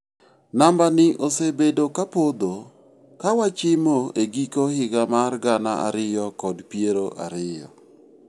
Nambani osebedo kapodho kawachimo e giko higa mar gana ariyo kod piero ariyo.